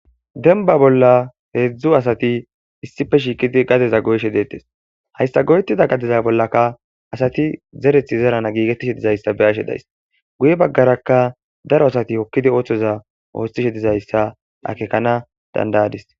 Dembba gade bolla hedzdzu asati issippe shiiqidi gadeza goyishe deettes. Hayssa goyettida gadeza bollakka asati zererththi zerana giigettishe dizayssa be'ashe daysi. Guye baggarakka daro asati oosoza ooththishe dizayssa akeekana danda'adis.